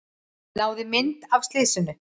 Náði mynd af slysinu